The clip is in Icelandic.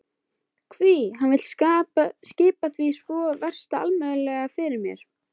Hví hann vill skipa því svo vefst allmjög fyrir mér.